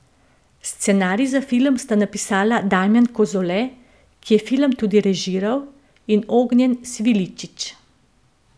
Scenarij za film sta napisala Damjan Kozole, ki je film tudi režiral, in Ognjen Sviličić.